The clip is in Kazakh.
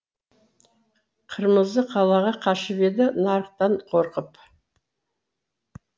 қырмызы қалаға қашып еді нарықтан қорқып